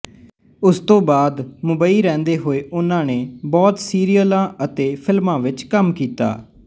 ਉਸ ਤੋਂ ਬਾਅਦ ਮੁੰਬਈ ਰਹਿੰਦੇ ਹੋਏ ਓਹਨਾ ਨੇ ਬਹੁਤ ਸੀਰੀਅਲਾਂ ਅਤੇ ਫ਼ਿਲਮਾਂ ਵਿੱਚ ਕੰਮ ਕੀਤਾ